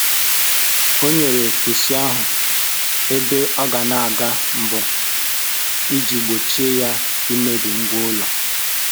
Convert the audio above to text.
O nyèrè pusi ahụ ebe ọ ga na aga mbọ iji gbochie ya imebi ngwa ụlọ